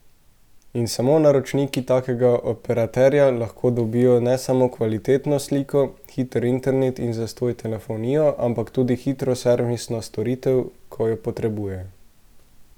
In samo naročniki takega operaterja lahko dobijo ne samo kvalitetno sliko, hiter internet in zastonj telefonijo, ampak tudi hitro servisno storitev, ko jo potrebujejo.